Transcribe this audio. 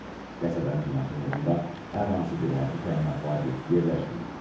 Qəsəbənin yaxınlığında hər hansı bir hərbi təyinatlı obyekt yerləşməyib.